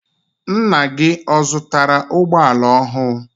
Ńnà gị ọ zụtara ụgbọala ọhụụ?